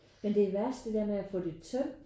Men det er værst det der med at få det tømt